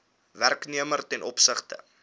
werknemer ten opsigte